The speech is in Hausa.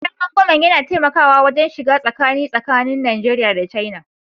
Gidan rangwamen yana taimakawa wajen shiga tsakani tsakanin Najeriya da China